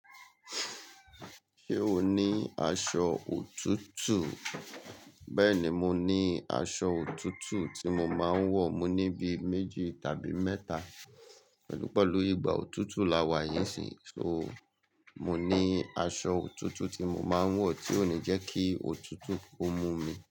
Ṣé o ní aṣọ òtútù? Bẹ́ẹ̀ni, mo ní aṣọ òtútù tí mo máa ń wọ̀. Mo ní bíi méjì tàbí mẹ́ta pẹ̀lú pẹ̀lú ìgbà òtútù la wà yí ì sí. So, mo ní aṣọ òtútù tí mo máa ń wọ̀ tí ó ní jẹ́ kí òtútù ó mú mi.